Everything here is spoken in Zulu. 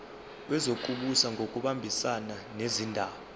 wezokubusa ngokubambisana nezindaba